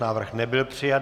Návrh nebyl přijat.